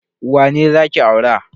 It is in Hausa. Wane za ki aura?